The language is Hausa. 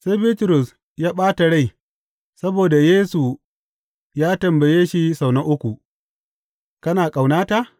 Sai Bitrus ya ɓata rai saboda Yesu ya tambaye shi sau na uku, Kana ƙaunata?